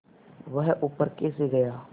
वह ऊपर कैसे गया